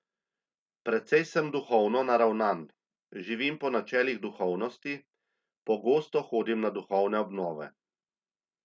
Precej sem duhovno naravnan, živim po načelih duhovnosti, pogosto hodim na duhovne obnove.